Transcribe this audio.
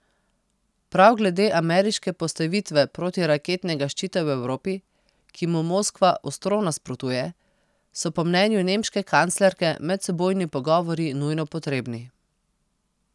Prav glede ameriške postavitve protiraketnega ščita v Evropi, ki mu Moskva ostro nasprotuje, so po mnenju nemške kanclerke medsebojni pogovori nujno potrebni.